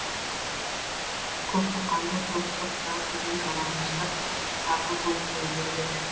көксоққанды көксоқта түгіл жалаңаштап қарға көміп қою керек еді